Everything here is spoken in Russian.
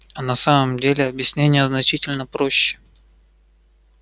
а на самом деле объяснение значительно проще